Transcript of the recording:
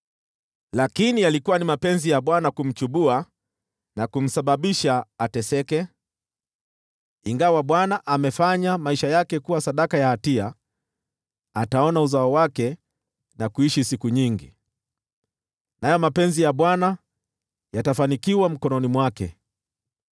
Lakini yalikuwa ni mapenzi ya Bwana kumchubua na kumsababisha ateseke. Ingawa Bwana amefanya maisha yake kuwa sadaka ya hatia, ataona uzao wake na kuishi siku nyingi, nayo mapenzi ya Bwana yatafanikiwa mkononi mwake.